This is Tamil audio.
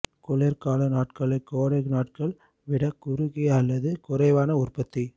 குளிர்கால நாட்கள் கோடை நாட்கள் விட குறுகிய அல்லது குறைவான உற்பத்தி